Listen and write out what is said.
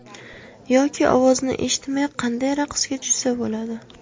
Yoki ovozni eshitmay qanday raqsga tushsa bo‘ladi?